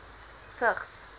vigs